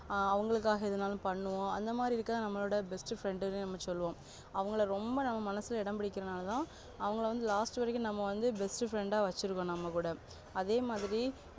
ஆஹ் அவங்களுக்காக எதுனாலும் பண்ணுவோம் அந்த மாதிரி இருக்க நம்மலுட best friend ன்னு சொல்லுவோம் அவங்கள ரொம்ப நம்ம மனசுல இடம்பிடிக்கிரனாளதா அவங்களா வந்து last வரைக்கும் நம்ம வந்து best friend ஆ வச்சி இருக்கோம் நம்ம கூட அதேமாதிரி